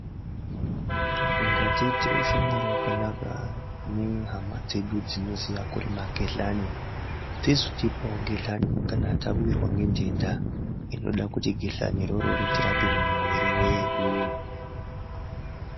Ngatiite ushamwari hwakanaka nehama dzedu dzinoziya kurima ghehlani, kuitira kuti kana tawirwa ngedenda ghehlani rakona rinotirapa mwiri yedu.